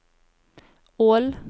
Ål